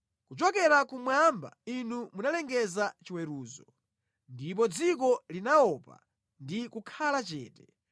Kuchokera kumwamba Inu munalengeza chiweruzo, ndipo dziko linaopa ndi kukhala chete,